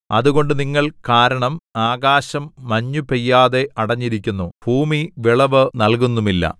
അതുകൊണ്ട് നിങ്ങൾ കാരണം ആകാശം മഞ്ഞുപെയ്യാതെ അടഞ്ഞിരിക്കുന്നു ഭൂമി വിളവ് നൽകുന്നുമില്ല